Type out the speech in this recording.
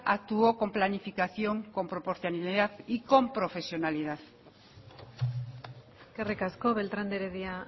actuó con planificación con proporcionalidad y con profesionalidad eskerrik asko beltrán de heredia